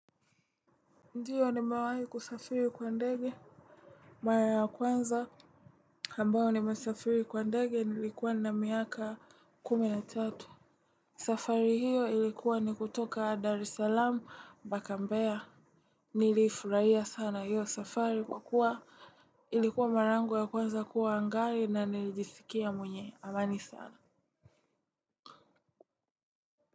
Ndiyo nimewai kusafiri kwa ndege. Mara ya kwanza ambao nimesafiri kwa ndege nilikuwa na miaka kumi na tatu. Safari hiyo ilikuwa ni kutoka Dar es Salaam mpaka mbea. Nilifurahia sana hiyo safari kwa kuwa ilikuwa mara yangu ya kwanza kuwa angani na nilijisikia mwenye amani sana.